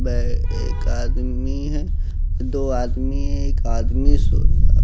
वह एक आदमी है दो आदमी है एक आदमी सो अ।